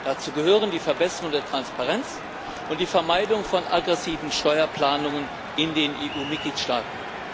Dazu gehören die Verbesserung der Transparenz und die Vermeidung von aggressiven Steuerplanungen in den EU Mitgliedstaaten.